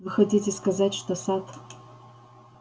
вы хотите сказать что сатт